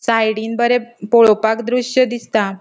साइडीन बरे पोळोवपाक दृश्य दिसता.